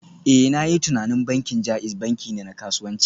Eh, na yi tunanin bankin JAIZ banki ne na kasuwanci